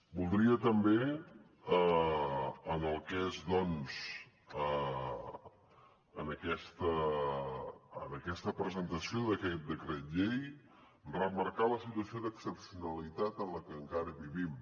voldria també en el que és doncs aquesta presentació d’aquest decret llei remarcar la situació d’excepcionalitat en la que encara vivim